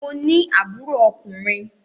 Mo ní àbúrò ọkùnrin.